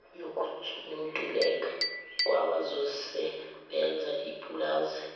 nokuntuleka kwabazosebenza ipulazi